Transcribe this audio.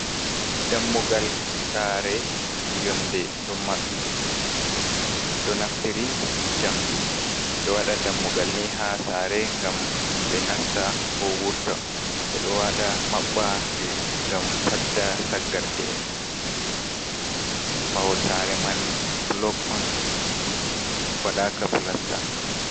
Dammugal sare yonde ɗo maɓɓi. Ɓeɗo naftiri jamdi ɓeɗo waɗa dammugal ni ha sare ngam himɓe nasta ko wurta maɓɓa ngam fadda saggarle’en. Mahol sare man bulok on waɗaka pilasta.